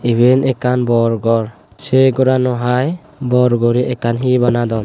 iben ekkan bor gor say gorano hai bor guri ekkan hee banadon.